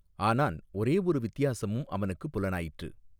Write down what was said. ஆனான் ஒரே ஒரு வித்தியாசமும் அவனுக்கு புலனாயிற்று.